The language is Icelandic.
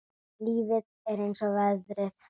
Lífið er eins og veðrið.